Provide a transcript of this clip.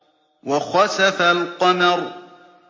وَخَسَفَ الْقَمَرُ